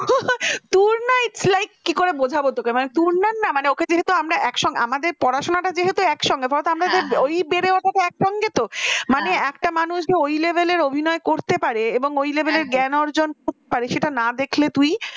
অই কি করে বোঝাবো তোকে মানে তুরনার না মানে ওকে ছাড়া তো আমার একসঙ্গে আমাদের পড়াশোনা টা যেহেতু একসঙ্গে ধর আমাদের বেড়ে ওঠাতে একসঙ্গে মানে একটা মানুষই যে ওই level র অভিনয় করতে পারে হ্যাঁ হ্যাঁ ওর level র জ্ঞান অর্জন করতে পারে না দেখলে তুই